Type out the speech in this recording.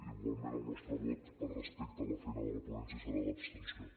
igualment el nostre vot per respecte a la feina de la ponència serà l’abstenció